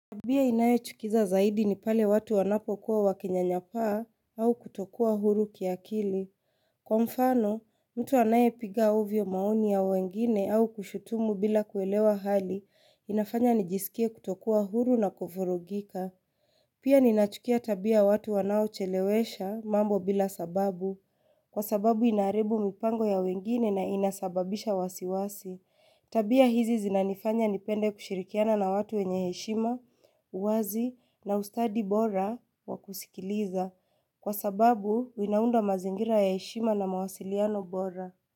Tabia inayochukiza zaidi ni pale watu wanapokuwa wakinyanyapaa au kutokuwa huru kiakili. Kwa mfano, mtu anayepiga ovyo maoni ya wengine au kushutumu bila kuelewa hali inafanya nijisikie kutokuwa huru na kuvurugika. Pia ninachukia tabia watu wanaochelewesha mambo bila sababu. Kwa sababu inaharibu mipango ya wengine na inasababisha wasiwasi. Tabia hizi zinanifanya nipende kushirikiana na watu wenye heshima, uwazi na ustadi bora wa kusikiliza. Kwa sababu inaunda mazingira ya heshima na mawasiliano bora.